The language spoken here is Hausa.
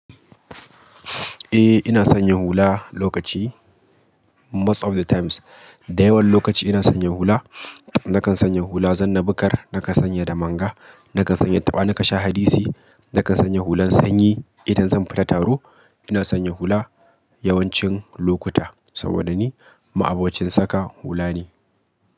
Eh ina sanya hula lokaci most of the times. Da yawan lokaci ina sanya hula. Nakan sanya hula zanna bukar, nakan sanya damanga, nakan sanya taɓa ni ka sha hadisi, nakan sanya hulan sanyi idan zan fita taro. Ina sanya hula yawancin lokuta saboda ni ma'abocin saka hula ne.